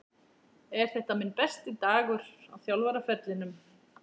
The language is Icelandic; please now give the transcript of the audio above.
Er þetta minn besti dagur á þjálfaraferlinum?